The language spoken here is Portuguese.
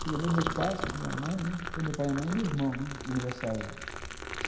Chegamos eu, meus pais, minha mãe, meu pai, minha mãe e meu irmão no aniversário lá.